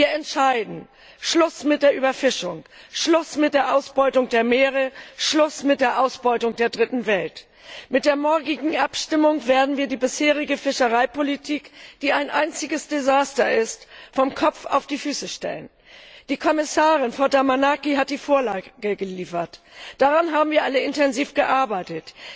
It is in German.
Wir entscheiden Schluss mit der Überfischung, Schluss mit der Ausbeutung der Meere, Schluss mit der Ausbeutung der Dritten Welt! Mit der morgigen Abstimmung werden wir die bisherige Fischereipolitik, die ein einziges Desaster ist, vom Kopf auf die Füße stellen. Die Kommissarin, Frau Damanaki, hat die Vorlage geliefert. Daran haben wir alle intensiv gearbeitet.